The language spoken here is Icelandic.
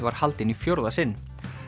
var haldin í fjórða sinn